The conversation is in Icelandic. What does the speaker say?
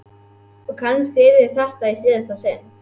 Og kannski yrði þetta í síðasta sinn.